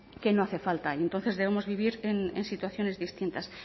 que no hace falta y entonces debemos vivir en situaciones distintas